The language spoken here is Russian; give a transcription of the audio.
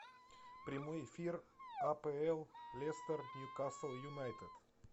прямой эфир апл лестер ньюкасл юнайтед